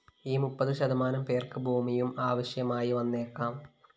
ഈ മുപ്പത് ശതമാനം പേര്‍ക്ക് ഭൂമിയും ആവശ്യമായി വന്നേക്കാം